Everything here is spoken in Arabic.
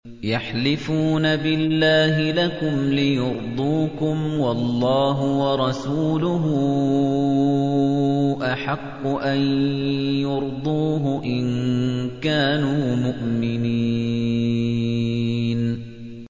يَحْلِفُونَ بِاللَّهِ لَكُمْ لِيُرْضُوكُمْ وَاللَّهُ وَرَسُولُهُ أَحَقُّ أَن يُرْضُوهُ إِن كَانُوا مُؤْمِنِينَ